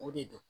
O de don